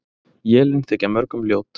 Élin þykja mörgum ljót.